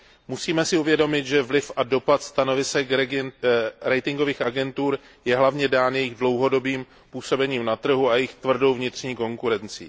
Musíme si uvědomit, že vliv a dopad stanovisek ratingových agentur je hlavně dán jejich dlouhodobým působením na trhu a jejich tvrdou vnitřní konkurencí.